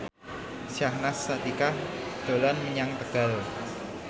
Syahnaz Sadiqah dolan menyang Tegal